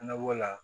Na b'o la